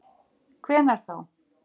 Hvenær þá?